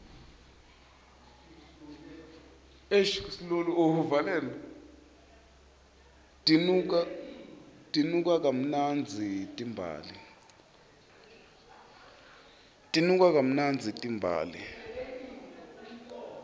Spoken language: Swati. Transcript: tinuka kamnandzi timbali